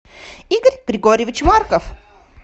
игорь григорьевич марков